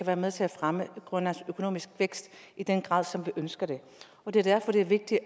være med til at fremme grønlands økonomiske vækst i den grad som vi ønsker det og det er derfor det er vigtigt